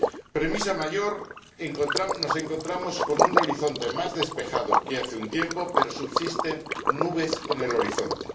Premisa mayor nos encontramos con un horizonte más despejado que hace un tiempo, pero subsisten nubes en el horizonte.